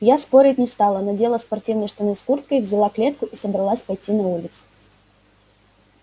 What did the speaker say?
я спорить не стала надела спортивные штаны с курткой взяла клетку и собралась пойти на улицу